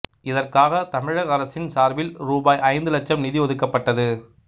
இதற்காகத் தமிழக அரசின் சார்பில் ரூபாய் ஐந்து இலட்சம் நிதி ஒதுக்கப்பட்டது